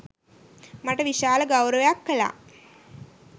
මට විශාල ගෞරවයක් කළා